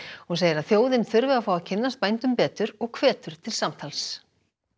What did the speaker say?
hún segir að þjóðin þurfi að fá að kynnast bændum betur og hvetur til samtals